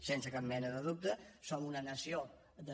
sense cap mena de dubte som una nació de